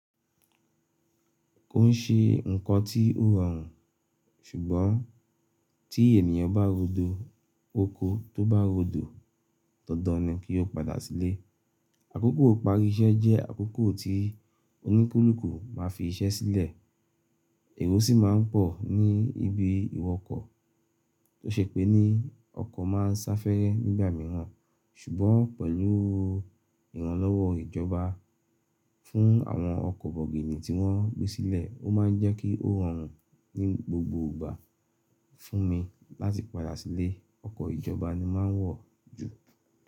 Ko n ṣe nnkan tí ó rọrùn ṣùgbọ́n tí ènìyàn bá rodo, oko tó bá rodo, dandan ni kí o padà sílé. Àkókò ìparí iṣẹ́ jẹ́ àkókò tí oníkulùku máa fi iṣẹ́ sílẹ̀, èrò sì máa ń pọ̀ ní ibi ìwọkọ̀, tó ṣe pé ní ọkọ̀ máa ń sá fẹ́rẹ́ nígbà mìíràn ṣùgbọ́n pẹ̀lú ìrànlọ́wọ́ ìjọba fún àwọn ọkọ̀ bọ̀gìnì tí wọ́n gbé sílẹ̀, ó máa ń jẹ́ kí ó rọrùn ní gbogbo ìgbà fún mi láti padà sílé, ọkọ̀ ìjọba ni mà ń wọ̀ jù.